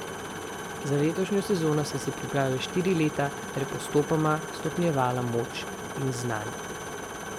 Za letošnjo sezono sem se pripravljala štiri leta ter postopoma stopnjevala moč in znanje.